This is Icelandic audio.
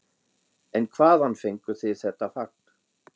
En hvaðan fengu þeir þetta fagn?